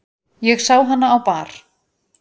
Ég sá hana á bar.